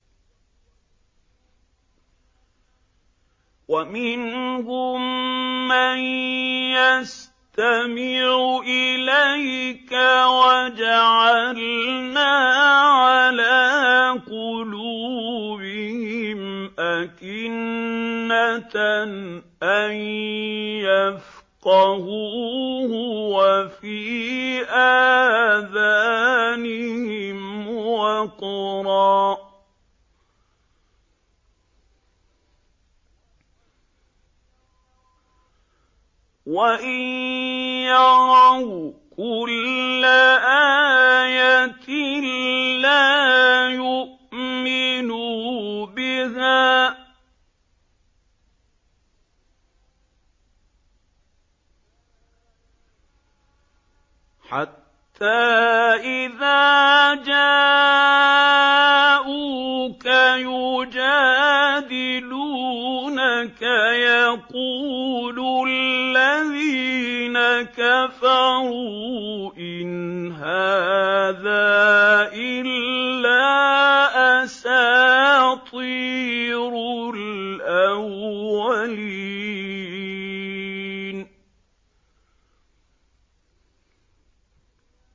وَمِنْهُم مَّن يَسْتَمِعُ إِلَيْكَ ۖ وَجَعَلْنَا عَلَىٰ قُلُوبِهِمْ أَكِنَّةً أَن يَفْقَهُوهُ وَفِي آذَانِهِمْ وَقْرًا ۚ وَإِن يَرَوْا كُلَّ آيَةٍ لَّا يُؤْمِنُوا بِهَا ۚ حَتَّىٰ إِذَا جَاءُوكَ يُجَادِلُونَكَ يَقُولُ الَّذِينَ كَفَرُوا إِنْ هَٰذَا إِلَّا أَسَاطِيرُ الْأَوَّلِينَ